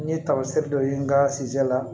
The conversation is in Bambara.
N ye tamasiyɛn dɔ ye n ka la